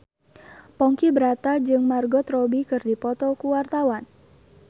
Ponky Brata jeung Margot Robbie keur dipoto ku wartawan